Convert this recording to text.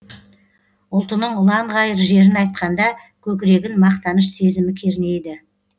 ұлтының ұланғайыр жерін айтқанда көкірегін мақтаныш сезімі кернейді